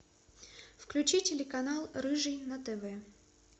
включи телеканал рыжий на тв